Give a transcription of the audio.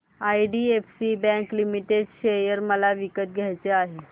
IDFC bank limited share मला विकत घ्यायचे आहेत